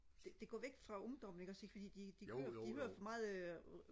det går væk fra ungdommen ikke også fordi de hører de hører for meget øh